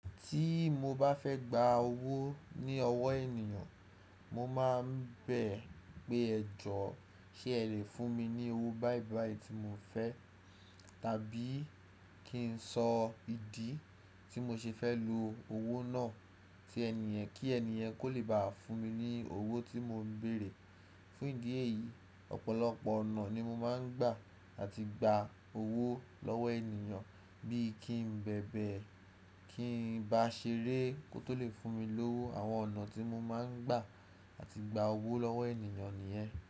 Tí mo bá fẹ́ gba owó ní ọwọ́ ènìyàn, mo máa ń bẹ̀ pé ẹ joọ́ ṣé ẹ lè fún mi ní owó báìbàì tí mo fẹ́ tàbí kí n sọ ìdí tí mo ṣe fẹ́ lo owó náà tí ènì yen kí ènì yen kó lè báa fún mi ní owó tí mò ń béèrè. Fún ìdí èyí, ọ̀pọ̀lọpọ̀ ọ̀nà ni mo máa ń gbà àti gba owó lọ́wọ́ ènìyàn bíi kí n bẹ̀bẹ̀, kí n bá ṣeré kó tó lè fún mi lówó. Àwọn ọ̀nà tí mo máa ń gbà àti gba owó lọ́wọ́ ènìyàn nìyẹn.